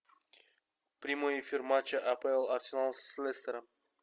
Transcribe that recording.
прямой эфир матча апл арсенал с лестером